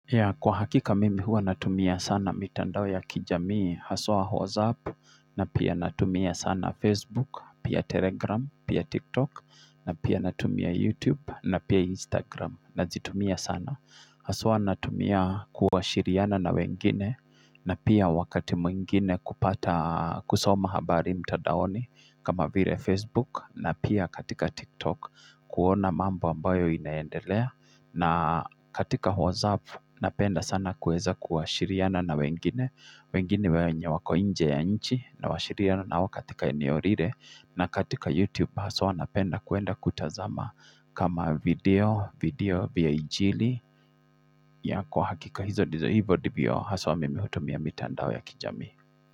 Yah kwa hakika mimi huwa natumia sana mitandao ya kijamii, haswa WhatsApp, na pia natumia sana Facebook, pia Telegram, pia TikTok, na pia natumia YouTube, na pia Instagram, nazitumia sana. Haswa natumia kuwasiliana na wengine, na pia wakati mwingine kupata kusoma habari mtadaoni kama vile Facebook, na pia katika TikTok, kuona mambo ambayo inaendelea. Na katika WhatsApp napenda sana kuweza kuwasiliana na wengine wengine wenye wako inje ya nchi na wasiliana na wao katika eneo lile na katika YouTube haswa napenda kuenda kutazama kama video, video vya injili ya kwa hakika. Hizo ndizo hivyo ndivyo haswa mimi hutumia mitandao ya kijami.